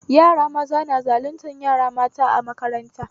Yara maza na zaluntar yara mata a makaranta